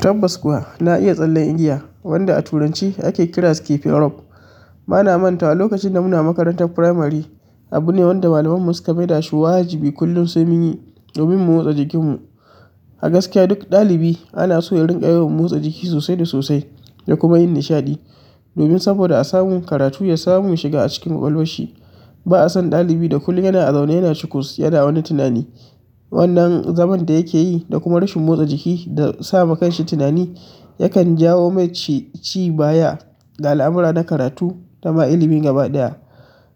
Tabbas kuwa na iya tsallen igiya wanda a turanci ake kira skipping rope. Bana manta wa lokacin da muna makarantar firamari, abu ne wanda malamai mu suka maida shi waji bi kullum sai munyi domin mu motsa jikin mu. A gaskiya duk ɗalibi ana so ya riƙa yawan motsa jiki sosai da sosai da kuma yin nishaɗi. Domin saboda a samun karatu ya samu shiga a cikin ƙwaƙwalwashi. Ba'a san ɗalibi da kullum yana a zaune yana cikus, yana wani tunani. Wannan zaman da yake yi da kuma rashin motsa jiki da sama kanshi tunani, yakan jawo mashi ci baya ga al'amura na karatu da ma ilimin gaba ɗaya.